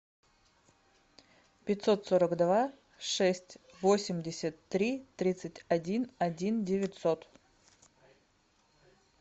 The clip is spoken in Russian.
пятьсот сорок два шесть восемьдесят три тридцать один один девятьсот